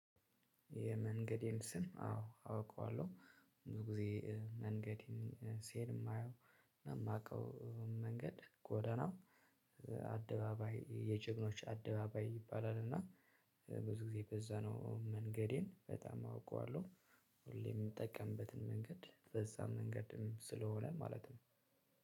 የመንገዴን ስም አዎ አውቀዋለሁ። ብዙ ጊዜ መንገዴን ስሄድ የማየው የማውቀው መንገድ ጎዳናው። አደባባይ የጀግኖች አደባባይ ይባላል እና ብዙ ጊዜ በዛ ነው። መንገዴን በጣም አውቀዋለሁ። ሁሌም የምጠቀምበትን መንገድ በዛ መንገድም ስለሆነ ማለት ነው።